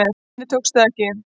Henni tókst það ekki.